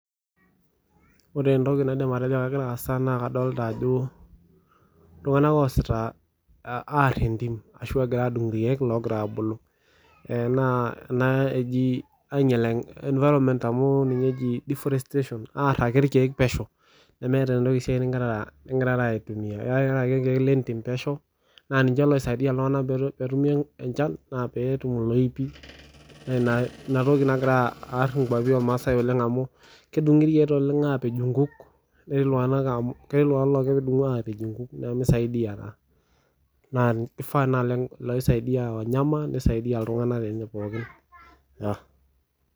Ore entoki naidim atejo kegira aasa naa kadolta ajo iltung'anak oosita aar entim ashu egira adung irkeek logira abulu. Naa ena eji ainyel environment amu ninye eji deforestation aar ake irkeek pesho. Nemeeta esiai nigirara aitumia. Iaritata ake irkeek lentim pesho, na ninche loisaidia iltung'anak petumi enchan na petum iloipi na inatoki nagira aar inkwapi ormaasai oleng amu kedung'i irkeek oleng apej inkuk, netii iltung'anak ketii iltung'anak logira adung'u apej inkuk pemisaidia. Na kifaa loisaidia wanyama nisaidia iltung'anak lenye pookin.